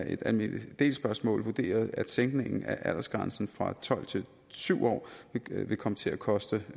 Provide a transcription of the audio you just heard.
et almindelig del spørgsmål vurderet at sænkningen af aldersgrænsen fra tolv år til syv år vil komme til at koste